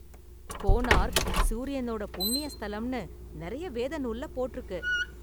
கோனாரக் சூரியனோட புண்ணிய ஸ்தலம்னு நிறைய வேத நூல்ல போட்டிருக்கு.